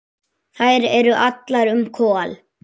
Þær eru allar um Kol.